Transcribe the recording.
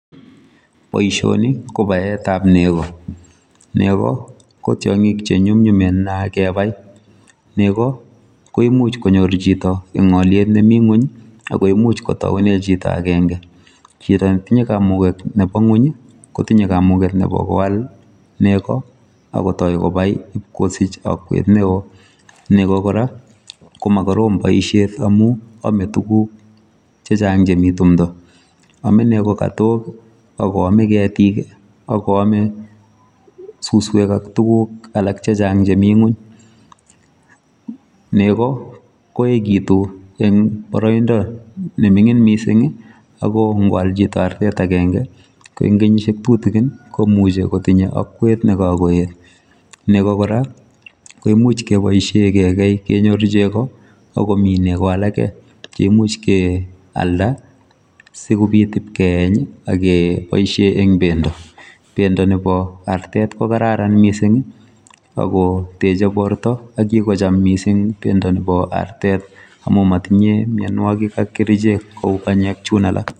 Boisioni ko baetab nego, nego ko tiongik che nyumnyumen nea kebai, nego koimuch konyor chito en alyet ne mi nguny ii akoimuch kotaune chito akenge, chito ne tinye kamuket nebo nguny ii, kotinye kamuket nebo koal nego akotoi kobai ip kosich akwet ne oo, nego kora koma korom boisiet amu ame tukuk che chang chemi tumdo, ame nego katok ak koame ketik ii ak koame suswek ak tukuk alak che chang chemi nguny, nego ko ekitu eng boroindo nemining mising ii, ako kwal chito artet akenge ko eng kenyisiek tutikin, komuchi kotinye akwet ne kakoet, nego kora koimuch keboisie kekei kenyoru chego ako mi nego alake chemuch kealda sikobit ip keeny ii, ak keboisie eng bendo, bendo nebo artet ko kararan mising ii, ako teche borta ak kikocham mising bendo nebo artet amu motinye mionwogik ak kerichek kou banyek chun alak.